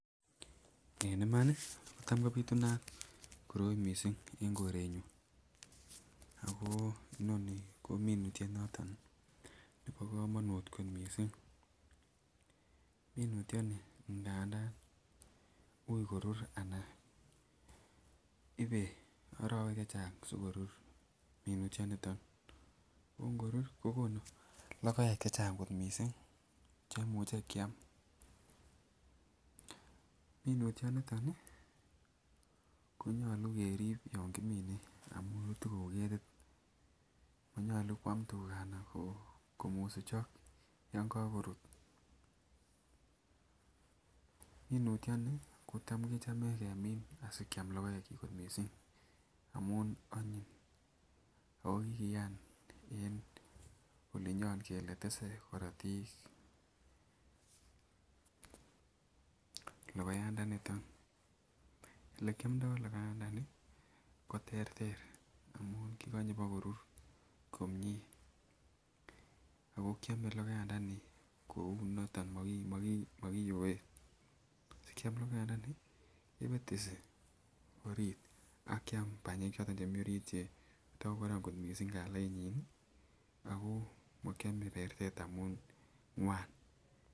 En imani ko tam kopitunat koroi missing en korenyun ako Nini ko minutyo noton nebo komonut ko missing. Minutyoni nganda ui korur anan ibe orowek che Chang sikorur minutyo niton ko ngorur ko konu lokek che Chang kot missing cheimuche kiam. Minutyo niton nii konyolu kerib yon kimine amun rutu kou ketit monyolu kwam tugaa anan komusuchok yon kokorut. Minutyo nii kotam kechome kemin sikiam lokoek chik kot missing amun onyin okikiyan en olinyon kele tese korotik lokoyandoniton, ole kiomdo lokoyandoni ko terter amun kokonye bokorur komie ako kiome lokoyandoni kou niton mokiyoe sikiam lokoyandoni kepetesi orit akiam panyek choton chemii orit chetokokoron missing kalainyin nii akoo mokiome pertet amun ngwan.